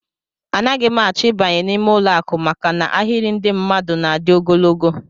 Anaghị m achọ ịbanye n'ime ụlọakụ maka na ahịrị ndị mmadụ na-adị ogologo